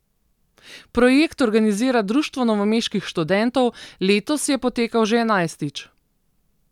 Projekt organizira Društvo novomeških študentov, letos je potekal že enajstič.